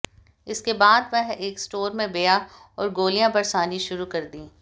इसके बाद वह एक स्टोर में बया और गोलियां बरसानी शुरू कर दी